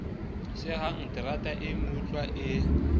sehang terata e meutlwa e